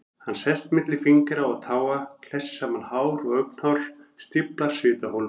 Hann sest milli fingra og táa, klessir saman hár og augnhár, stíflar svitaholur.